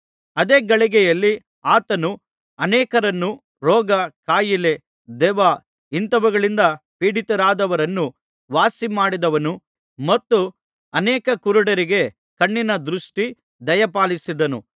ಅದೇ ಗಳಿಗೆಯಲ್ಲಿ ಆತನು ಅನೇಕರನ್ನು ರೋಗ ಕಾಯಿಲೆ ದೆವ್ವ ಇಂಥವುಗಳಿಂದ ಪೀಡಿತರಾದವರನ್ನು ವಾಸಿಮಾಡಿದನು ಮತ್ತು ಅನೇಕ ಕುರುಡರಿಗೆ ಕಣ್ಣಿನ ದೃಷ್ಟಿ ದಯಪಾಲಿಸಿದನು